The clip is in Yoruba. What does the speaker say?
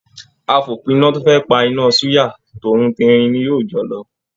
Àfòpína to fẹ pá iná suya, t'óun terin ní yóó jọ lọ.